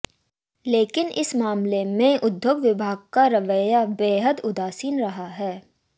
लेकिन इस मामले में उद्योग विभाग का रवैया बेहद उदासीन रहा है